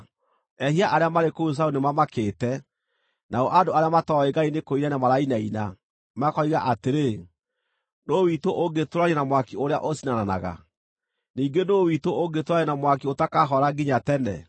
Ehia arĩa marĩ kũu Zayuni nĩmamakĩte; nao andũ arĩa matooĩ Ngai nĩkũinaina marainaina, makoiga atĩrĩ, “Nũũ witũ ũngĩtũũrania na mwaki ũrĩa ũcinanaga? Ningĩ nũũ witũ ũngĩtũũrania na mwaki ũtakahora nginya tene?”